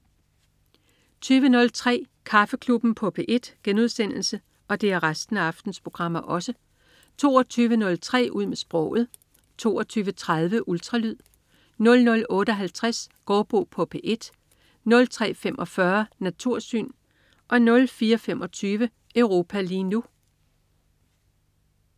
20.03 Kaffeklubben på P1* 22.03 Ud med sproget* 22.30 Ultralyd* 00.58 Gaardbo på P1* 03.45 Natursyn* 04.25 Europa lige nu*